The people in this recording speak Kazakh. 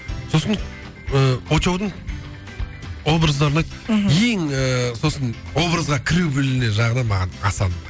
сосын ыыы очоудың образдарына мхм ең ыыы сосын образға кіру білуі жағынан маған асан ұнайды